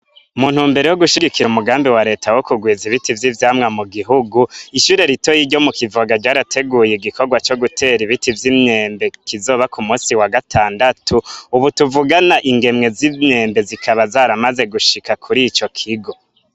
Mu ntumbero yo gushigikira umugambi wa leta wo kugwiza ibiti vy'ivyamwa mu gihugu, ishure ritoyi ryo mu Kivoga ryarateguye igikorwa co gutera ibiti vy'imyembe, kizoba ku musi wa gatandatu. Ubu tuvugana ingemwe z'imyembe zikaba zaramaze gushika kuri ico kigo.